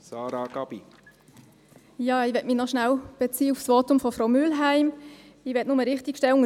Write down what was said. Ich möchte mich noch kurz auf das Votum von Frau Mühlheim beziehen.